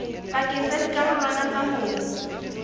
pakeng tsa dikarolwana tsa mobu